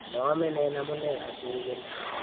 moomenen amune asiibir